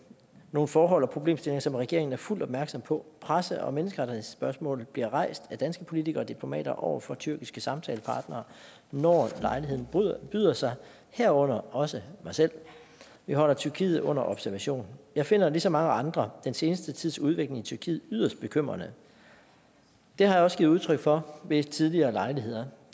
nogle forhold og problemstillinger som regeringen er fuldt opmærksom på presse og menneskerettighedsspørgsmål bliver rejst af danske politikere og diplomater over for tyrkiske samtalepartnere når lejligheden byder sig herunder også af mig selv vi holder tyrkiet under observation jeg finder ligesom mange andre den seneste tids udvikling i tyrkiet yderst bekymrende det har jeg også givet udtryk for ved tidligere lejligheder